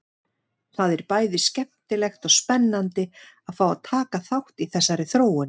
Það er bæði skemmtilegt og spennandi að fá að taka þátt í þessari þróun!